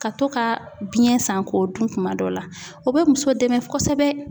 Ka to ka biyɛn san k'o dun kuma dɔ la, o bɛ muso dɛmɛ kosɛbɛ.